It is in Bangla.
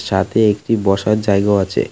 তাতে একটি বসার জায়গাও আছে।